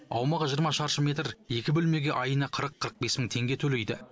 аумағы жиырма шаршы метр екі бөлмеге айына қырық қырық бес мың теңге төлейді